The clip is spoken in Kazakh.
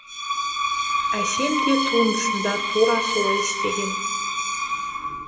әсем де туындысында тура солай істеген